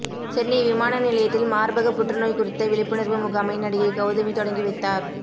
சென்னை விமான நிலையத்தில் மார்பக புற்றுநோய் குறித்த விழிப்புணர்வு முகாமை நடிகை கவுதமி தொடங்கி வைத்தார்